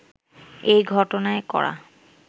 এই ঘটনায় করা